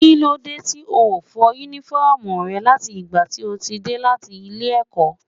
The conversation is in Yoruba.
Kílódé tí o ò fọ Únífọ́ọ̀mù rẹ láti ìgbà tí o ti dé láti ilé-ẹ̀kọ́?